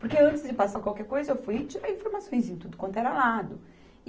Porque antes de passar qualquer coisa, eu fui e tirei informações de tudo quanto era lado.